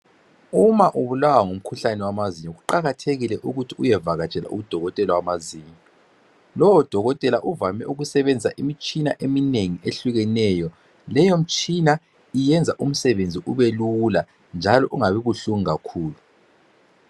Uma ubulawa ngumkhuhlane wamazinyo kuqakathekile ukuthi uyevakatshela udokotela wamazinyo .Lowo dokotela uvame ukusebenzisa imitshina eminengi ehlukeneyo, leyo mtshina iyenza umsebenzi ube lula njalo ungabi buhlungu kakhulu